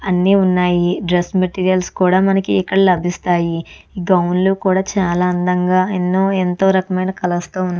అన్నీ ఉన్నాయి. Dress materials కూడా మనికి ఇక్కడ లభిస్తాయి. గౌన్ లు ఎంతో అందంగా ఎన్నో రకమైన కలర్స్ తో --